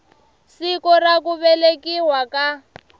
siku ra ku velekiwa ka